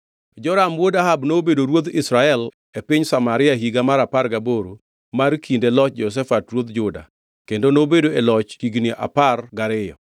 Joram wuod Ahab nobedo ruodh Israel e piny Samaria e higa mar apar gaboro mar kinde loch Jehoshafat ruodh Juda kendo nobedo e loch higni apar gariyo.